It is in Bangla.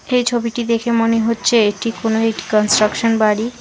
এই ছবিটি দেখে মনে হচ্ছে এটি কোনো একটি কন্ট্রাকশন বাড়ি।